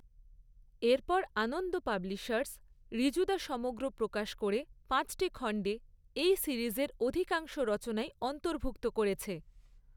এরপর আনন্দ পাবলিশার্স 'ঋজুদা সমগ্র' প্রকাশ করে পাঁচটি খণ্ডে এই সিরিজের অধিকাংশ রচনাই অন্তর্ভুক্ত করেছে।